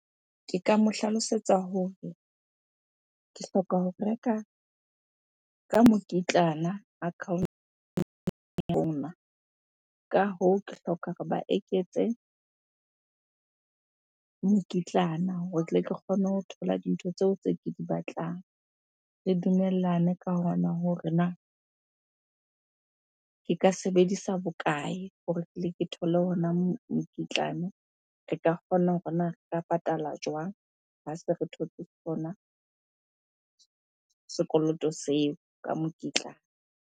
Ke ka mo hlalosetsa hore ke hloka ho reka ka mokitlana . Ka hoo, ke hloka hore ba eketse mokitlana hore tle ke kgone ho thola dintho tseo tse ke di batlang. Re dumellane ka hona hore na ke ka sebedisa bokae hore ke thole ona mokitlane. Re ka kgona hore na re ka patala jwang ha se re thotse sona sekoloto seo ka mokitlane?